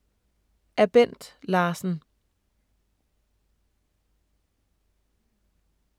Af Bent Larsen